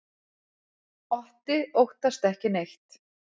Otti óttast ekki neitt!